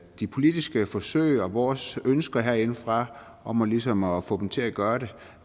de politiske forsøg og vores ønsker herindefra om ligesom at få dem til at gøre det